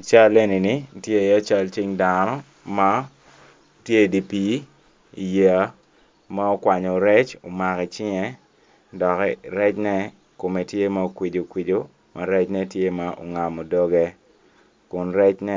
I cal eni tye iye cal cing dano ma tye i dye pii i yeya ma okwanyo rec omako i cinge dok rene kome tye ma okwico kiwaco ma ngecne tye ma ongamo doge kun recne